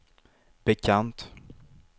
bekant